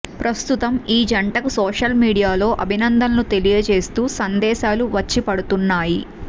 ప్రస్తుతం ఈ జంటకు సోషల్ మీడియాలో అభినందనలు తెలియజేస్తూ సందేశాలు వచ్చి పడుతున్నాయి